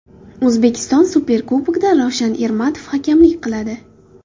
O‘zbekiston Superkubogida Ravshan Ermatov hakamlik qiladi.